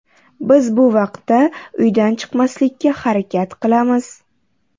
Biz bu vaqtda uydan chiqmaslikka harakat qilamiz.